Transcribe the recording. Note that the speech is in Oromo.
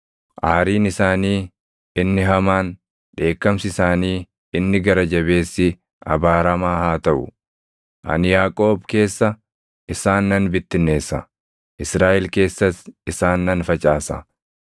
Aariin isaanii inni hamaan, dheekkamsi isaanii inni gara jabeessi abaaramaa haa taʼu! Ani Yaaqoob keessa isaan nan bittinneessa; Israaʼel keessas isaan nan facaasa.